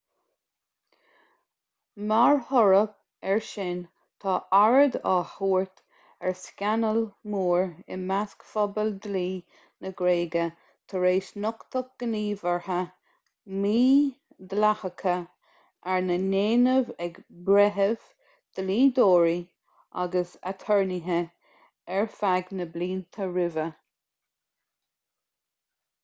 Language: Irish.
mar thoradh air sin tá aird á tabhairt ar scannal mór i measc phobal dlí na gréige tar éis nochtadh gníomhartha mídhleathacha arna ndéanamh ag breithimh dlíodóirí agus aturnaetha ar feadh na blianta roimhe